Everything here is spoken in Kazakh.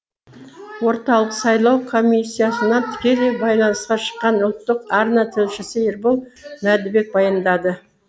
орталық сайлау комиссиясынан тікелей байланысқа шыққан ұлттық арна тілшісі ербол мәндібек баяндады